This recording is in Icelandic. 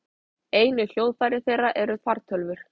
Einu hljóðfæri þeirra eru fartölvur.